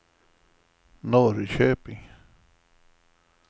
Norrköping